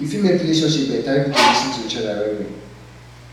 yu fit mek relationship beta if yu dey lis ten to each oda well well